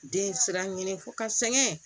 Den sira ɲini f'ɔ ka sɛŋɛ